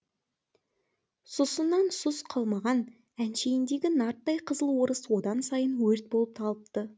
сұсынан сұс қалмаған әншейіндегі нарттай қызыл орыс одан сайын өрт болып алыпты